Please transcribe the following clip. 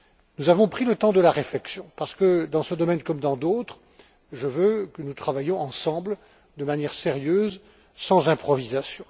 Nous avons pris le temps de la réflexion, parce que, dans ce domaine comme dans d'autres, je veux que nous travaillions ensemble, de manière sérieuse, sans improvisation.